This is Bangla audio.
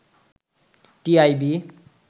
টিআইবি